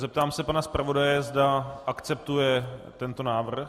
Zeptám se pana zpravodaje, zda akceptuje tento návrh.